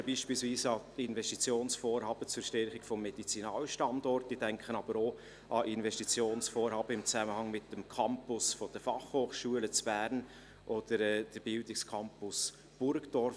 Ich denke beispielsweise an Investitionsvorhaben zur Stärkung des Medizinalstandorts, aber auch an Investitionsvorhaben im Zusammenhang mit dem Campus der Fachhochschulen in Bern oder des Bildungscampus Burgdorf.